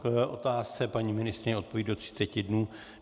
K otázce paní ministryně odpoví do třiceti dnů.